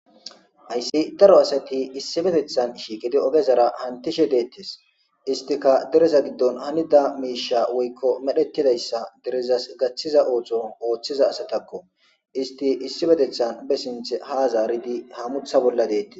Hayssi daro asati issipetethan shiiqidi ogezars hantishe deetees; istika dereza giddon hanida miishsha woykko medhetidayssa derezas gaththiza ooththo oththiza asatako; isti issipetethan be sinththe ha zaaridi hamuththa bolla de'etees.